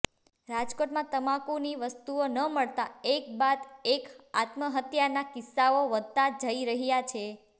રાજકોટમાં તમાકુની વસ્તુઓ ન મળતાં એક બાદ એક આત્મહત્યાના કિસ્સાઓ વધતાં જઈ રહ્યા છે